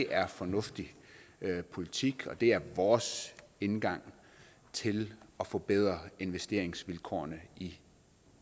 er fornuftig politik og det er vores indgang til at forbedre investeringsvilkårene i